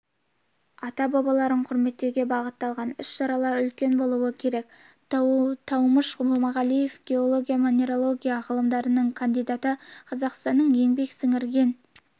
ата-бабаларын құрметтеуге бағытталған іс-шаралар үлкен болуы керек таумыш жұмағалиев геология-минералогия ғылымдарының кандидаты қазақстанның еңбек сіңірген